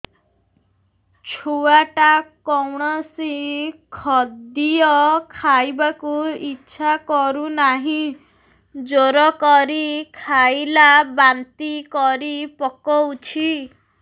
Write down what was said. ଛୁଆ ଟା କୌଣସି ଖଦୀୟ ଖାଇବାକୁ ଈଛା କରୁନାହିଁ ଜୋର କରି ଖାଇଲା ବାନ୍ତି କରି ପକଉଛି